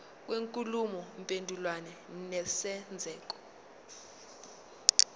kwenkulumo mpendulwano nesenzeko